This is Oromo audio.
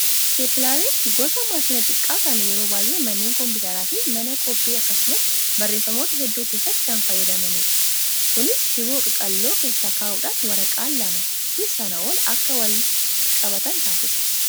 Isteeppilariin gosa maashina xiqqaa kan yeroo baay'ee manneen kompiitaraa fi mana koppii akkasumas barreeffamoota hedduu keessatti kan fayyadamanidha. Kunis shiboo qaqalloo keessa kaa'uudhaan waraqaawwan lamaa fi sanaa ol akka walitti qabatan taasisa.